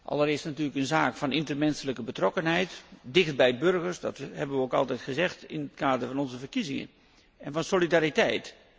Allereerst is dit natuurlijk een zaak van intermenselijke betrokkenheid, dichtbij de burgers, dat hebben we ook altijd gezegd in het kader van onze verkiezingen, en van solidariteit.